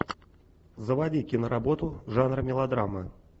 заводи киноработу жанр мелодрама